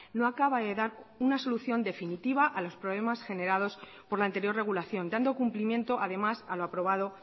no acaba de dar una solución definitiva a los problemas generados por la anterior regulación dando cumplimiento además a lo aprobado